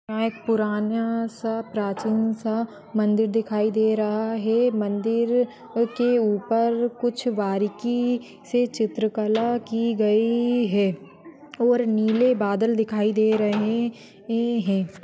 यहाँ एक पुरानासा प्राचीन सा मंदिर दिखाई दे रहा है मंदिर के उपर कुछ बारीकी से चित्रकला की गयी है और नीले बादल दिखाई दे रहे है।